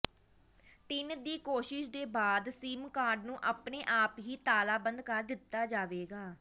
ਤਿੰਨ ਦੀ ਕੋਸ਼ਿਸ਼ ਦੇ ਬਾਅਦ ਸਿਮ ਕਾਰਡ ਨੂੰ ਆਪਣੇ ਆਪ ਹੀ ਤਾਲਾਬੰਦ ਕਰ ਦਿੱਤਾ ਜਾਵੇਗਾ